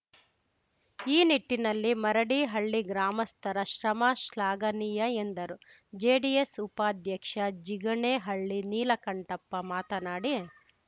ಈ ನಿಟ್ಟಿನಲ್ಲಿ ಮರಡಿ ಹಳ್ಳಿ ಗ್ರಾಮಸ್ಥರ ಶ್ರಮ ಶ್ಲಾಘನೀಯ ಎಂದರು ಜೆಡಿಎಸ್‌ ಉಪಾಧ್ಯಕ್ಷ ಜಿಗಣೆಹಳ್ಳಿ ನೀಲಕಂಠಪ್ಪ ಮಾತನಾಡಿ